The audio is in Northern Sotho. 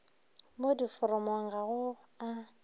mo diforomong ga go a